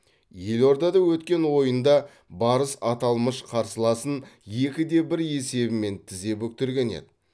елордада өткен ойында барыс аталмыш қарсыласын екіде бір есебімен тізе бүктірген еді